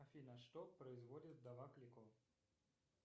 афина что производит вдова клико